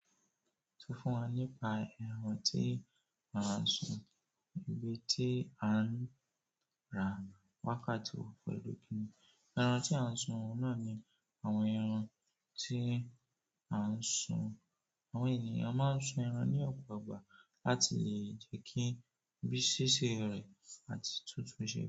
Sọ fún wa nípa ẹran tí a ń sun, ibi tí a ń rà wákàtí wo pẹ̀lú kí ni? Ẹran tí a ń sun náà ni àwọn ẹran tí a ń sun. Àwọn ènìyàn máa ń sun ẹran ní ọ̀pọ̀ ìgbà láti lè jẹ́ kí bí ṣíṣe rẹ̀ àti tútù ṣe.